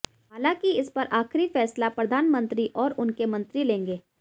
हालांकि इस पर आखिरी फैसला प्रधानमंत्री और उनके मंत्री लेंगे